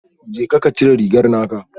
Jeka ka cire rigar naka